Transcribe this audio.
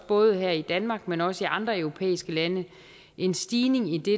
både her i danmark men også i andre europæiske lande en stigning i det